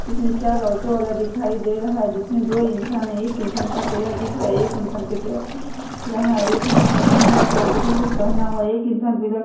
जिसमें चार ऑटो वाला दिखाई दे रहा है जिसमें दो इंसान है एक इंसान का चेहरा दिख रहा है एक इंसान का चेहरा नहीं दिख रहा है एक इंसान है जो हरा कलर का टी शर्ट पहना हुआ है एक इंसान बिलख --